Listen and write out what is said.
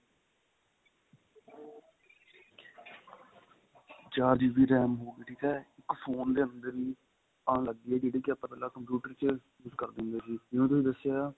ਚਾਰ GB RAM ਠੀਕ ਆ phone ਦੇ ਅੰਦਰ ਈ ਜਿਹੜੀ ਕੀ ਆਪਾਂ ਪਹਿਲਾਂ computer ਚ use ਕਰਦੇ ਹੁੰਦੇ ਸੀ ਜਿਵੇਂ ਤੁਹਾਨੂੰ ਦੱਸਿਆ